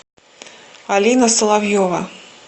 алина соловьева